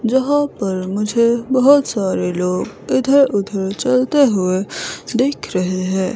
जहां पर मुझे बहोत सारे लोग इधर उधर चलते हुए दिख रहे हैं।